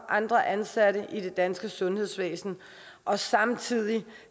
andre ansatte i det danske sundhedsvæsen og samtidig